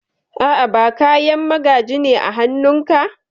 A'a, ba Kayan magaji ne a hanun ka?